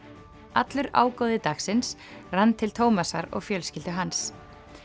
allur ágóði dagsins rann til Tómasar og fjölskyldu hans